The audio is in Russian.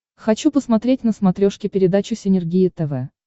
хочу посмотреть на смотрешке передачу синергия тв